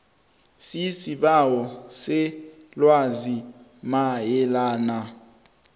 sisibawo selwazi mayelana